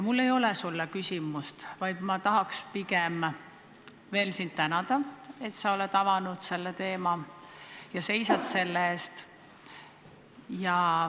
Mul ei ole sulle küsimust, vaid ma tahaks pigem veel sind tänada, et sa oled avanud selle teema ja seisad selle eest.